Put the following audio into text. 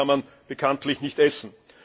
Und Papier kann man bekanntlich nicht essen.